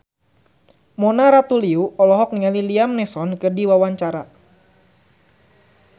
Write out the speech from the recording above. Mona Ratuliu olohok ningali Liam Neeson keur diwawancara